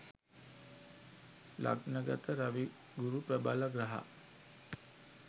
ලග්න ගත රවි ගුරු ප්‍රබල ග්‍රහ